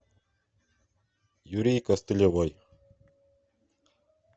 юрий костылевой